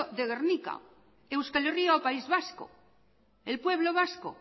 de gernika euskal herria o país vasco el pueblo vasco